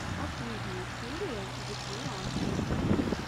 последняя серия джикью раша